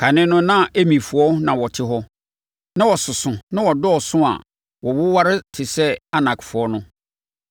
Kane no na Emifoɔ na wɔte hɔ. Na wɔsoso na wɔdɔɔso a wɔwoware te sɛ Anakfoɔ no.